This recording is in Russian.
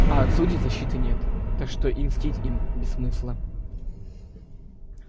а от судей защиты нет так что и мстить им без смысла